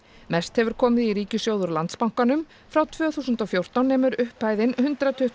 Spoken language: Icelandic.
mest hefur komið í ríkissjóð úr Landsbankanum frá tvö þúsund og fjórtán nemur upphæðin hundrað tuttugu